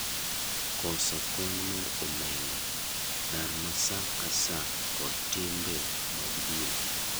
Koso kony mar omenda; dar ma sa ka saa kod timbe mag din